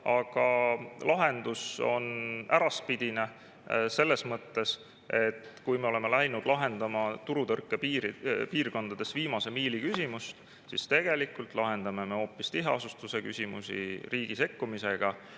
Aga lahendus on äraspidine selles mõttes, et kui me oleme läinud lahendama turutõrke piirkondades viimase miili küsimust, siis tegelikult lahendame me hoopis tiheasustuse küsimusi riigi sekkumisega.